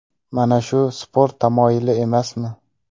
Mana shu sport tamoyili emasmi?